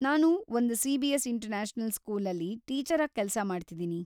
ನಾನು ಒಂದ್ C B S. International ಸ್ಕೂಲಲ್ಲಿ ಟೀಚರಾಗ್ ಕೆಲ್ಸ ಮಾಡ್ತಿದೀನಿ.